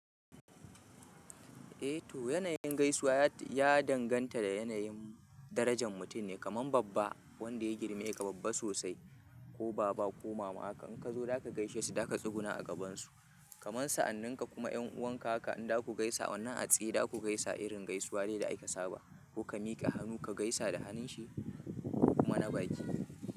Eh to, yanayin gaisuwa ya danganta da yanayin darajan mutum ne, kamar babba wanda ya girme ka babba sosai ko baba ko mama haka in ka zo da ka gaishe su da ka tsuguna a gabansu. Kaman sa'anninka kuma yan uwanka haka in da ku gaisa wannan a tsaye da ku gaisa irin gaisuwa dai da aka saba ko ka miƙa hannu ka gaisa da hannun shi kuma na bakin.